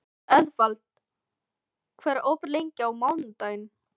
Eðvald, hvað er opið lengi á mánudaginn?